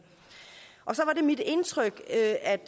og så var det mit indtryk at